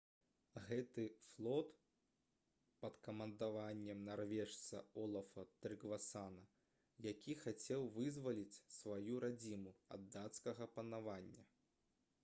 гэта быў флот пад камандаваннем нарвежца олафа трыгвасана які хацеў вызваліць сваю радзіму ад дацкага панавання